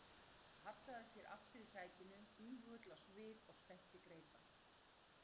Charles hallaði sér aftur í sætinu íhugull á svip og spennti greipar.